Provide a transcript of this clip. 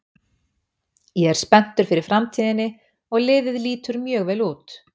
Ég er spenntur fyrir framtíðinni og liðið lítur mjög vel út.